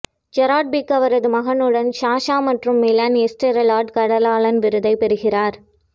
Gerard Pique அவரது மகன்களுடன் Sasha மற்றும் மிலன் எஸ்ட்ரெல்லா காடலான் விருதைப் பெறுகிறார்